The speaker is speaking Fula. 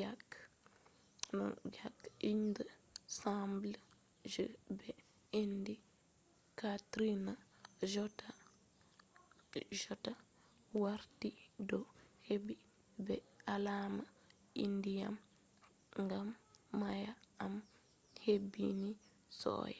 yake iyende sembe je ɓe indi katrina jotta warti ɗo hebbini be alama ndiyam gam mayo man hebbini sosai